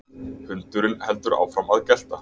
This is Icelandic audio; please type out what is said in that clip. Hundurinn heldur áfram að gelta.